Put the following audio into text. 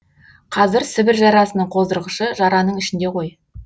қазір сібір жарасының қоздырғышы жараның ішінде ғой